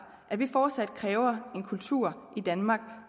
at vi fortsat kræver en kultur i danmark